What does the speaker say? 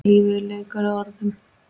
Lífið er leikur að orðum.